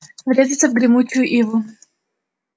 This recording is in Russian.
врезаться в гремучую иву